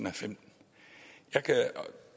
og femten jeg kan